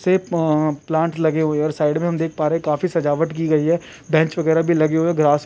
से प प्लांट लगे हुए हैं और साइड में हम देख पा रहे हैं काफी सजावट की गई है बेंच वगेराह भी लगे हुए हैं ग्रास --